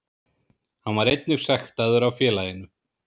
Hann var einnig sektaður af félaginu